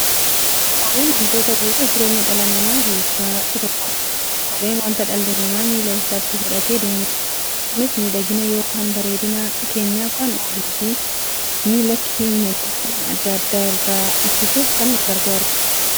Kopheen wantoota bu'uura jireenya dhala namaa keessaa isa tokkodha. Kopheen wanta dhalli namaa miilla isaatti godhatee deemudha. Kunis miidhagina yookiin bareedina keenyaaf kan ooluufi miilla keenya gufuu adda addaa irraa ittisuuf gargaara.